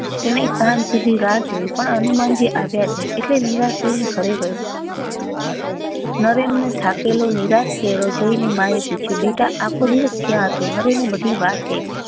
તેને સાંજ સુધી રાહ જોઈ પણ હનુમાનજી આવ્યા નહી એટલે નિરાતે એના ઘરે ગયો નરેન ને થાકેલો નિરાશ ચહેરો જોઈ ને માં એ પૂછ્યું બેટા આખો દિવસ ક્યા હતો નરેન એ બધી વાત કહી